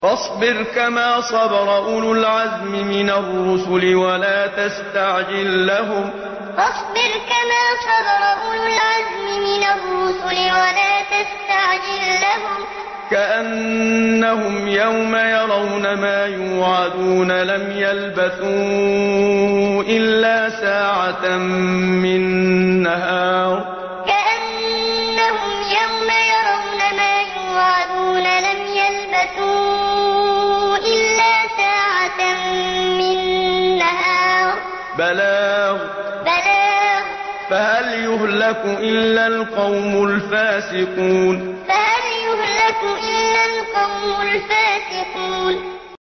فَاصْبِرْ كَمَا صَبَرَ أُولُو الْعَزْمِ مِنَ الرُّسُلِ وَلَا تَسْتَعْجِل لَّهُمْ ۚ كَأَنَّهُمْ يَوْمَ يَرَوْنَ مَا يُوعَدُونَ لَمْ يَلْبَثُوا إِلَّا سَاعَةً مِّن نَّهَارٍ ۚ بَلَاغٌ ۚ فَهَلْ يُهْلَكُ إِلَّا الْقَوْمُ الْفَاسِقُونَ فَاصْبِرْ كَمَا صَبَرَ أُولُو الْعَزْمِ مِنَ الرُّسُلِ وَلَا تَسْتَعْجِل لَّهُمْ ۚ كَأَنَّهُمْ يَوْمَ يَرَوْنَ مَا يُوعَدُونَ لَمْ يَلْبَثُوا إِلَّا سَاعَةً مِّن نَّهَارٍ ۚ بَلَاغٌ ۚ فَهَلْ يُهْلَكُ إِلَّا الْقَوْمُ الْفَاسِقُونَ